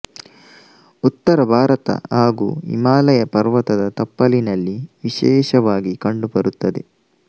ಉತ್ತರ ಭಾರತ ಹಾಗೂ ಹಿಮಾಲಯ ಪರ್ವತದ ತಪ್ಪಲಿನಲ್ಲಿ ವಿಶೇಷವಾಗಿ ಕಂಡುಬರುತ್ತದೆ